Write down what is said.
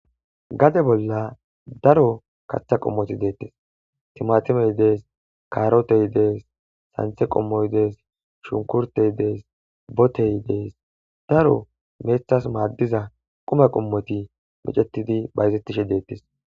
gade bolla daro kaththa qommoti deettes timatimey dees kaarotey dees santhe qommoy dees shunkurtey dees botey dees daro meethas maaddiza qoma qommoti micetidi bayzettishe deettes